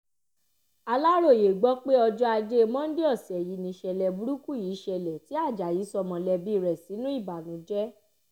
Alaroye gbọpe ọjọ aje Monday ọsẹ ni iṣẹlẹ buruku yii ṣẹlẹ ti Ajayi sọ mọlẹbi rẹ sinu ibanujẹ